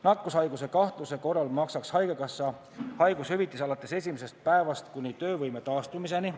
Nakkushaiguse kahtluse korral maksaks haigekassa haigushüvitist alates esimesest päevast kuni töövõime taastumiseni.